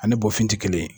Ani bɔfin tɛ kelen ye